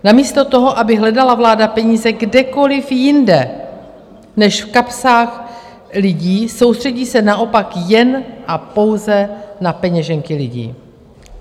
Namísto toho, aby hledala vláda peníze kdekoliv jinde než v kapsách lidí, soustředí se naopak jen a pouze na peněženky lidí.